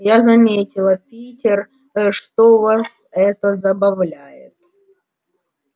я заметила питер что вас это забавляет